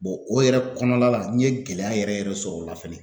o yɛrɛ kɔnɔna la n ye gɛlɛya yɛrɛ yɛrɛ sɔrɔ o la fɛnɛ